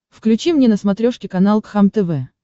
включи мне на смотрешке канал кхлм тв